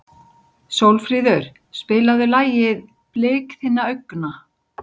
Sólfríður, spilaðu lagið „Blik þinna augna“.